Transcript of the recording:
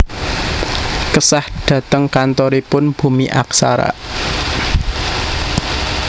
Kesah dateng kantoripun Bumi Aksara